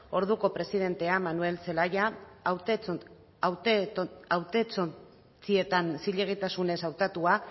orduko presidentea manuel zelaya hautestontzietan zilegitasunez hautatua